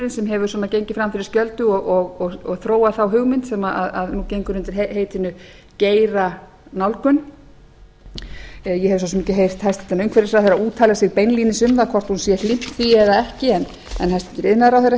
viðskiptaheimurinn sem hefur svona gengið fram fyrir skjöldu og þróað þá hugmynd sem nú gengur undir heitinu geiranálgun ég hef svo sem ekki heyrt hæstvirtur umhverfisráðherra úttala sig beinlínis um það hvort hún sé hlynnt því eða ekki en hæstvirtur iðnaðarráðherra